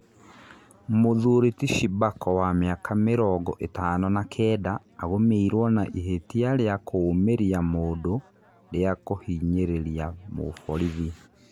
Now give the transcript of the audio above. Mũthuri ti Shibako wa mĩaka mĩrongo ĩtano na kenda agũmĩirwo na ihĩtia rĩa kũũmĩria mũndũ rĩa kũhinyĩrĩria mũborithi.